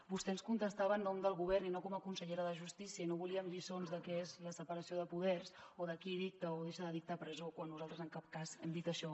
vostè ens contestava en nom del govern i no com a consellera de justícia i no volíem lliçons del que és la separació de poders o de qui dicta o deixa de dictar presó quan nosaltres en cap cas hem dit això